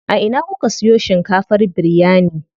A ina kuka siyo shinkafar biryani?